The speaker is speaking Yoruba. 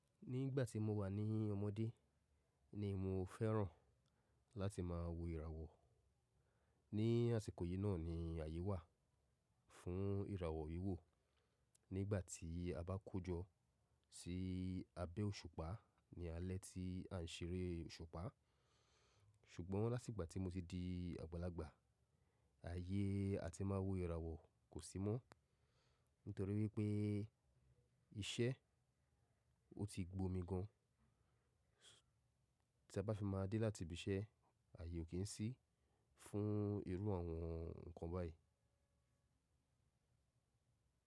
Nígbà tí mo wà ní ọmọdé ni mo fẹ́ràn láti má wo ìràwọ̀. Ni àsìkò yìí náà ni àyè wà fún ìràwọ̀ wiwò. Nígbà tí a bá kójọ sí abẹ́ òṣùpá ni alẹ́ tí à ń ṣeré òṣùpá. Ṣùgbọ́n látigbà tí mo ti di àgbàlagbà, àyè a ti máa wo ìràwọ̀ kò sí mọ́. Nítorí wípé iṣẹ́ ọ ti gbó mi gan. Tí a bá fi má a dé láti ibi iṣẹ́, àyè ò kín sí fún irú àwọn nǹkan báyìí.